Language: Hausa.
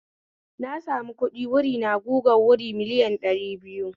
Na sami kuɗi wuri na gugan wuri miliyan ɗari biyu